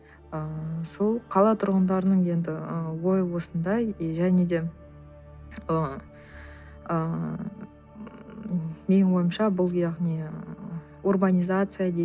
ыыы сол қала тұрғындарының енді ы ойы осындай и және де ыыы менің ойымша бұл яғни урбанизация дейді